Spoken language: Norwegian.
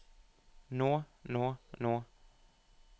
nå nå nå